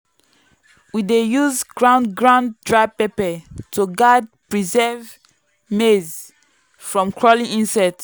we dey use ground ground dry pepper to guard preserved maize from crawling insects.